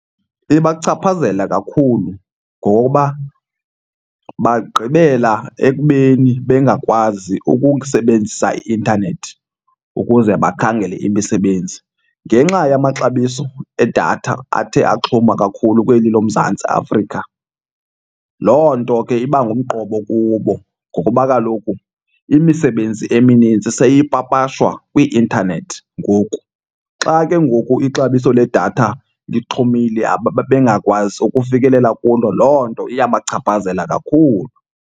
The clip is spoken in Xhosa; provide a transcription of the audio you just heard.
Ibachaphazela kakhulu ngoba bagqibela ekubeni bengakwazi ukusebenzisa i-intanethi ukuze bakhangele imisebenzi ngenxa yamaxabiso edatha athe axhoma kakhulu kweli loMzantsi Afrika. Loo nto ke iba ngumqobo kubo ngokuba kaloku imisebenzi eminintsi seyipapashwa kwi-intanethi ngoku. Xa ke ngoku ixabiso ledatha lixhomile bengakwazi ukufikelela kulo, loo nto iyabachaphazela kakhulu.